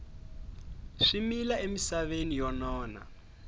swi mila emisaveni yo nona